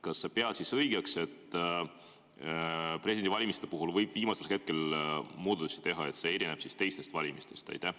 Kas sa pead õigeks, et presidendivalimiste puhul võib viimasel hetkel muudatusi teha, sest see erineb teistest valimistest?